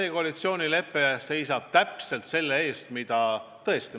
See koalitsioonilepe seisab just selle eest, mida Kadri selle Pärnumaa valimisdebati ajal lubas.